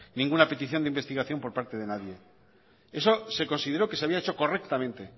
ninguna petición de investigación por parte de nadie eso se consideró que se había hecho correctamente